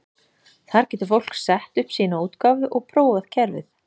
Þar getur fólk sett upp sína útgáfu og prófað kerfið.